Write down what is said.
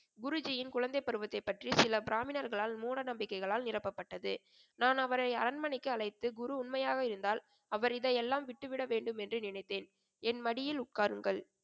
குருஜியின் குழந்தைப்பருவத்தைப் பற்றி சில பிராமணர்களால் மூட நம்பிக்கைகளால் நிரப்பப்பட்டது. நான் அவரை அரண்மனைக்கு அழைத்து குரு உண்மையாக இருந்தால் அவர் இதையெல்லாம் விட்டுவிட வேண்டும் என்று நினைத்தேன். என் மடியில் உட்காருங்கள்,